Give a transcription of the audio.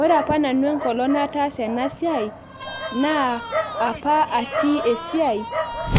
ore aoa enkolong nanu nataasa ena siai, naa apa atii esiai.